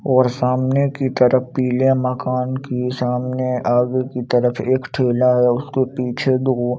और सामने की तरफ पीले मकान की सामने आगे की तरफ एक ठेला है और उसके पीछे दो--